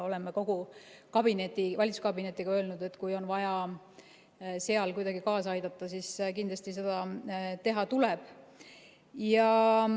Oleme kogu valitsuskabinetiga öelnud, et kui on vaja kuidagi kaasa aidata, siis kindlasti seda teha tuleb.